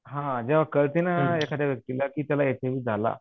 हां जेंव्हा कळते ना एखाद्या व्यक्तीला की त्याला एच आय व्ही झाला